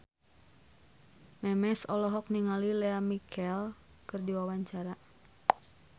Memes olohok ningali Lea Michele keur diwawancara